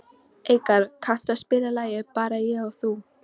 Eikar, kanntu að spila lagið „Bara ég og þú“?